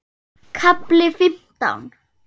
KAFLI FIMMTÁN